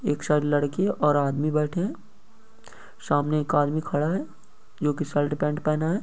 एक साइड लड़की और आदमी बैठे है। सामने एक आदमी खड़ा है जो की शर्ट पेंट पहना है।